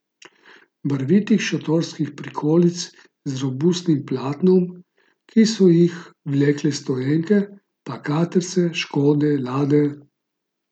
Barvitih šotorskih prikolic z robustnim platnom, ki so jih vlekle stoenke, pa katrce, škode, lade ...